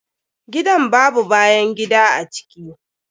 Gidan babau bayan gida a ciki.